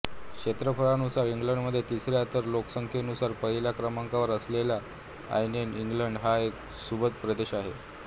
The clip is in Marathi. क्षेत्रफळानुसार इंग्लंडमध्ये तिसऱ्या तर लोकसंख्येनुसार पहिल्या क्रमांकावर असलेला आग्नेय इंग्लंड हा एक सुबत्त प्रदेश आहे